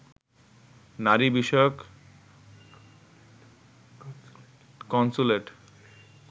নারী বিষয়ক কন্স্যুলেট